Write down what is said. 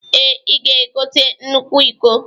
Ee, i ga-egote nnukwu iko